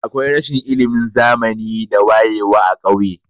Akwai rashin ilimin zamani da wayewa a kauye.